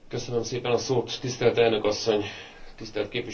Tisztelt elnök asszony, tisztelt képviselőtársaim!